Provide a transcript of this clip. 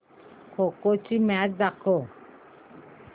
खो खो ची मॅच दाखव